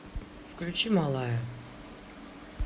включи малая